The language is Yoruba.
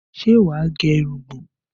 Ṣé wà á gẹ irugbọ̀n?